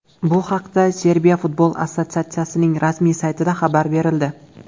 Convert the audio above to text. Bu haqda Serbiya futbol assotsiatsiyaning rasmiy saytida xabar berildi .